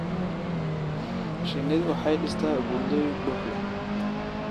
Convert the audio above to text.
Shinnidu waxay dhistaa buundooyin dhux leh.